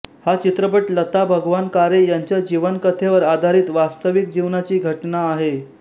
हा चित्रपट लता भगवान कारे यांच्या जीवन कथेवर आधारित वास्तविक जीवनाची घटना आहे